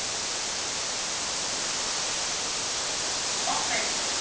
oxide